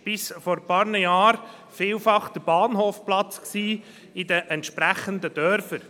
Bis vor einigen Jahren war das vielfach der Bahnhofplatz der entsprechenden Dörfer.